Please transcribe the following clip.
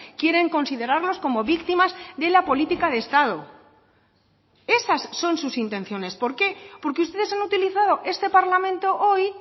quieren considerarlos como víctimas de la política de estado esas son sus intenciones por qué porque ustedes han utilizado este parlamento hoy